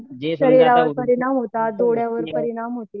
शरीरावर परिणाम होते डोळ्यावर परिणाम होते